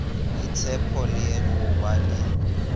boitshepo le go ba le